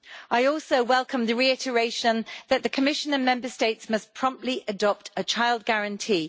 I also welcome the reiteration that the Commission and Member States must promptly adopt a child guarantee.